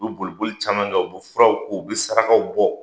U bɛ boliolili caman kɛ, u bɛ furaw ko ,u bɛ sarakaw bɔ!